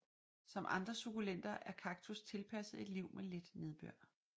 Som andre sukkulenter er kaktus tilpasset et liv med lidt nedbør